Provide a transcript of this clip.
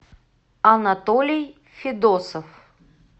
анатолий федосов